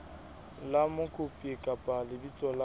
la mokopi kapa lebitso la